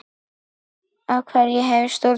Hverju hef ég stjórn á?